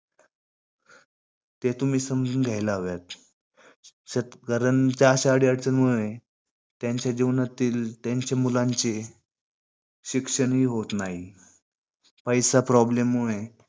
ते तुम्ही समजून घ्यायला हवेतं. कारण अशा अडी अडचणीमुळे त्यांच्या जीवनातील त्यांच्या मुलांचे शिक्षणही होत नाही. पैसा problem होऊ नये.